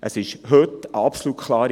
Heute ist die Regelung absolut klar.